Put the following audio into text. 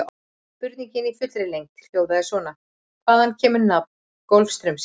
Spurningin í fullri lengd hljóðaði svona: Hvaðan kemur nafn Golfstraumsins?